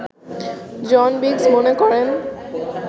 জন Biggs মনে করেন